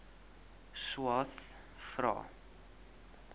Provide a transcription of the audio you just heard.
swathe vra